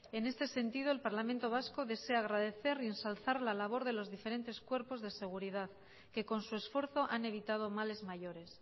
en este sentido el parlamento vasco desea agradecer y ensalzar la labor de los diferentes cuerpos de seguridad que con su esfuerzo han evitado males mayores